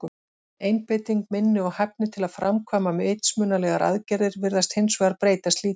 Einbeiting, minni og hæfni til að framkvæma vitsmunalegar aðgerðir virðast hins vegar breytast lítið.